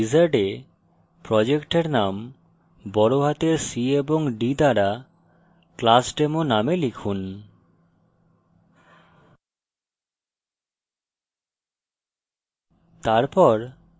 new project wizard এ project name c এবং d বড় হাতের দ্বারা classdemo name লিখুন